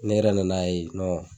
Ne yɛrɛ nan'a ye